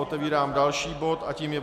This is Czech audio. Otevírám další bod a tím je